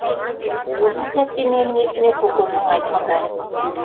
осы сәтте менің есіме көкемнің айтқандары түсті